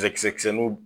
Cɛkisɛ kisɛnin